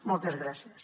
moltes gràcies